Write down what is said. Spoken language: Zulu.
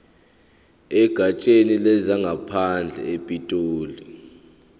egatsheni lezangaphandle epitoli